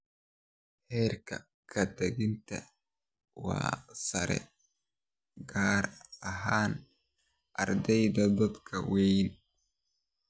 Heerka ka-tagidda waa sare, gaar ahaan ardayda da'da weyn.